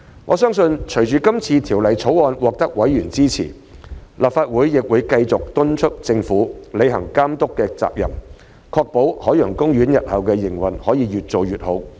我相信，隨着今次《條例草案》獲得委員支持，立法會亦會繼續敦促政府履行監管責任，確保海洋公園日後的營運可以越做越好。